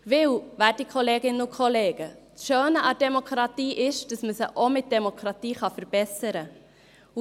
Denn, werte Kolleginnen und Kollegen, das Schöne an der Demokratie ist, dass man sie auch mit Demokratie verbessern kann.